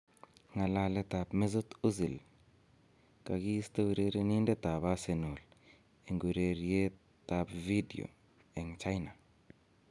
Ng'alaletab Mesut Ozil:Kakiisto urerenindetab Arsenal eng urerietab video eng China